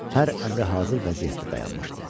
Hər əmri hazır vəziyyətdə dayanmışdı.